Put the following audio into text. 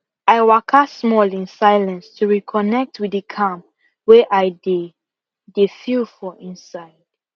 i waka small in silence to reconnect with the calm wey i dey dey feel for inside